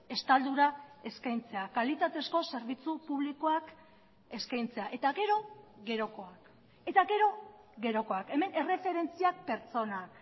estaldura eskaintzea kalitatezko zerbitzu publikoak eskaintzea eta gero gerokoak eta gero gerokoak hemen erreferentzia pertsonak